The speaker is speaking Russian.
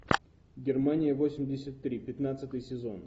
германия восемьдесят три пятнадцатый сезон